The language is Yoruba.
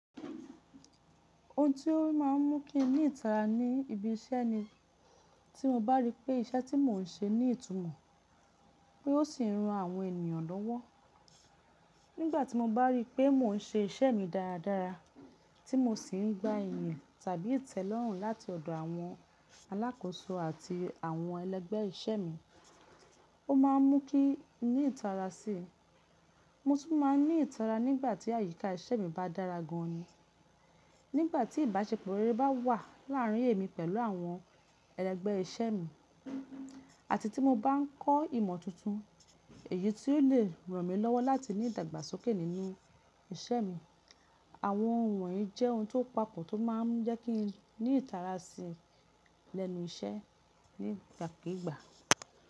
Ohun tí ó má ń mú kí ń ní ìtara ní ibi iṣẹ́ ni tí mo bá rí pé iṣẹ́ tí mò ń ṣe ní ìtumọ̀ pé ó sì ń ran àwọn ènìyàn lọ́wọ́. Nígbà tí mo bá rí pé mò ń ṣe iṣẹ́ mi dáradára tí mo sì ń gba ẹ̀yìn tàbí ìtẹ́lọ́rùn láti ọ̀dọ̀ àwọn alákóso àti àwọn ẹlẹ́gbẹ́ iṣẹ́ mi, ó má a mú kí ń ní ìtara sí i. Mo tun máa ń ní ìtara nígbà tí àyíká iṣẹ́ mi bá dára gan an ni, nígbà tí ìbáṣepọ̀ rere bá wà láàrín èmi pẹ̀lú àwọn ẹlẹ́gbẹ́ iṣẹ́ mi, àti tí mo bá ń kọ́ ìmọ̀ tuntun èyí tí ó lè ràn mí lọ́wọ́ láti ní ìdàgbàsókè nínú iṣẹ́ mi. Àwọn ohun wọ̀nyí jẹ́ ohun tó papọ̀ tó máa ń jẹ́ kí ń ní ìtara sí i lẹ́nu iṣẹ́ nígbà kíigbà.